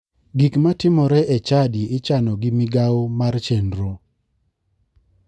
Gik matimore e chadi ichano gi migao mar chenro.